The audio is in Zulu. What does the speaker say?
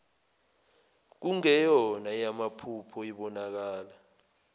kungeyona eyamaphupho ibonakala